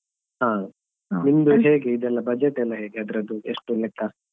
ಹಾ ನಿಮ್ದು ಹೇಗೆ ಇದೆಲ್ಲ budget ಎಲ್ಲ ಹೇಗೆ ಅದ್ರದ್ದು ಎಷ್ಟು ಲೆಕ್ಕ.